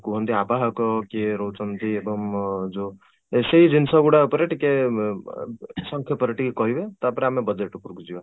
କୁହନ୍ତି ଆବାହକ କିଏ ରହୁଛନ୍ତି ଏବଂ ଯୋଉ ସେଇ ଜିନିଷ ଗୁଡାକ ଉପରେ ବ ସଂକ୍ଷେପରେ ଟିକେ କହିବେ ତାପରେ ଆମେ budget ଉପରକୁ ଯିବା